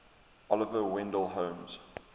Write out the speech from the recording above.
oliver wendell holmes